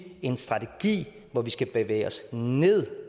en strategi hvor vi skal bevæge os ned